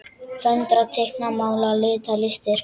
Föndra- teikna- mála- lita- listir